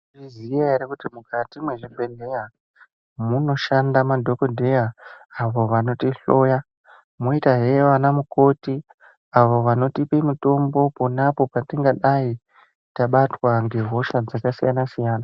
Maizviziya here kuti mukati mezvibhedhlera munoshanda madhokodheya avo vanoti hloya moita zve ana mukoti avo vanotipe mitombo apo patingadai tabatwa ngehosha dzakasiyana siyana .